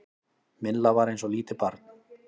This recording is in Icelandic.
Milla var eins og lítið barn.